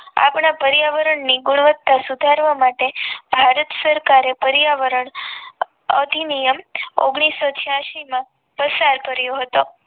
આપણા પર્યાવરણ ની ગુણવત્તા સુધારવા માટે ભારત સરકારે પર્યાવરણ અધિનિયમ ઓગ્નીશો છયાશી માં પ્રસાર કર્યો હતો